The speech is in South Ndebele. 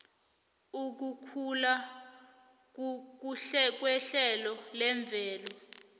ukukhula kuhlelo lemvelo